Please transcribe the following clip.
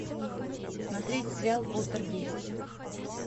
смотреть сериал полтергейст